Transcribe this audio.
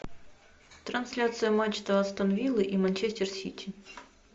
трансляция матча астон виллы и манчестер сити